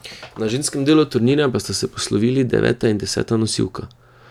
Na ženskem delu turnirja pa sta se poslovili deveta in deseta nosilka.